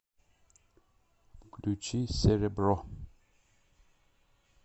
включи серебро